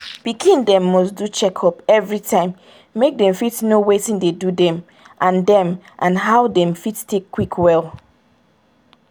pikin dem must do checkup everytime make dem fit know watin dey do dem and dem and how dem fit take quick well.